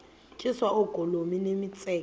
tyiswa oogolomi nemitseke